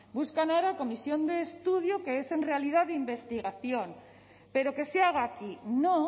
buscan ahora comisión de estudio que es en realidad de investigación pero que se haga aquí no